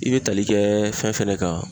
I be tali kɛ fɛn fɛnɛ kan